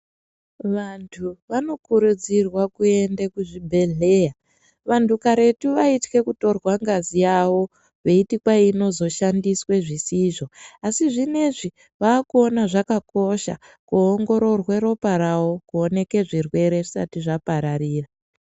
Vanthu vano kurudzirwawo kuenda muzvibhehlera. Vanhtu karetu vaithke kutorwa ngazi yavo veiti kwayi ino zoshandiswe zvisizvo asi zvinezvi vakuona zvakakosha kuongororwa ropa ravo kuoneke zvirwere zvisati zvapararira.